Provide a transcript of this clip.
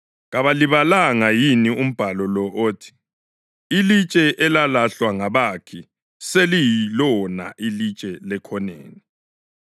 Kalibalanga yini umbhalo lo othi: ‘Ilitshe elalahlwa ngabakhi seliyilona ilitshe lekhoneni;